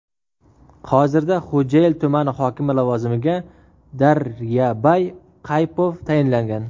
Hozirda Xo‘jayli tumani hokimi lavozimiga Daryabay Qaypov tayinlangan .